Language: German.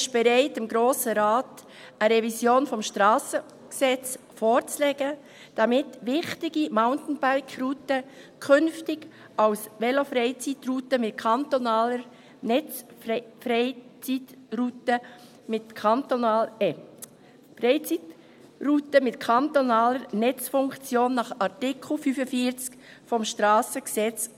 Er ist bereit, dem Grossen Rat eine Revision des SG vorzulegen, damit wichtige Mountainbike-Routen künftig als Velofreizeitrouten mit kantonaler Netzfunktion nach Artikel 45 SG gelten können.